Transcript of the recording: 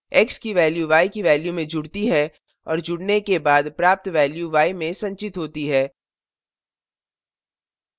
x की value y की value में जुड़ती है और जुड़ने के बाद प्राप्त value y में संचित होती है